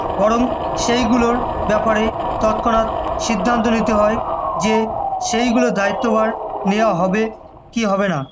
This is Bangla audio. বরং সেগুলোর ব্যাপারে তৎক্ষণাৎ সিদ্ধান্ত নিতে হয় যে সেগুলোর দায়ত্বভার নেওয়া হবে কি হবে না